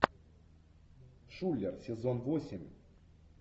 шулер сезон восемь